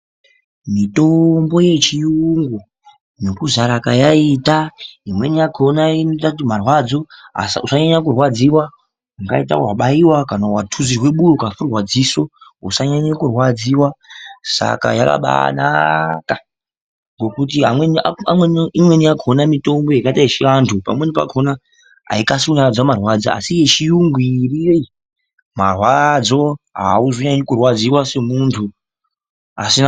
Mitombo yechiyungu nokuzara kayaita imweni yakhona inoita kuti usabaanyanye kurwadziwa kana kunyanya kurwadziwa maningi. Pamweni unenge watuzirwa padziso kana kuti warwadziwa .Pamwe yechiantu ndizvona ,asi yechiyungu inobaanyaradza marwadzo .